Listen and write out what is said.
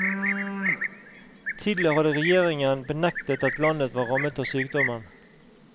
Tidligere hadde regjeringen benektet at landet var rammet av sykdommen.